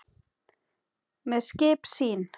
með skip sín